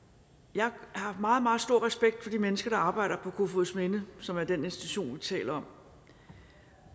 jeg har meget meget stor respekt for de mennesker der arbejder på kofoedsminde som er den institution vi taler om